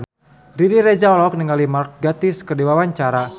Riri Reza olohok ningali Mark Gatiss keur diwawancara